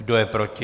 Kdo je proti?